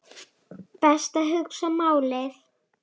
Best að hugsa málið.